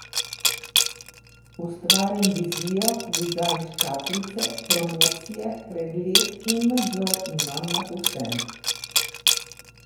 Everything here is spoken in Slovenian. Ustvarim vizijo, dizajn škatlice, promocije, pregled in nadzor imam nad vsem.